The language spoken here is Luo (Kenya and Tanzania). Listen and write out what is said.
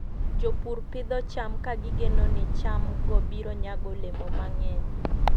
Jopur pidho cham ka gigeno ni chamgo biro nyago olemo mang'eny.